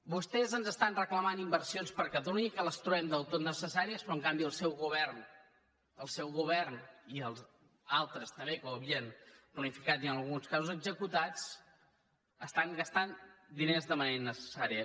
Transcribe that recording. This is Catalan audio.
vostès ens estan reclamant inversions per a catalunya i que les trobem del tot necessàries però en canvi el seu govern el seu govern i altres també que ho havien planificat i en alguns casos executat estan gastant diners de manera innecessària